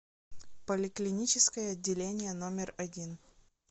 поликлиническое отделение номер один